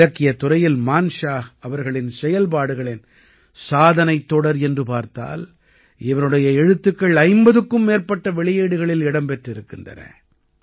இலக்கியத் துறையில் மான்ஷாஹ் அவர்களின் செயல்பாடுகளின் சாதனைத் தொடர் என்று பார்த்தால் இவருடைய எழுத்துக்கள் 50க்கும் மேற்பட்ட வெளியீடுகளில் இடம் பெற்றிருக்கின்றன